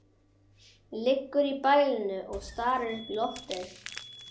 Liggur í bælinu og starir upp í loftið.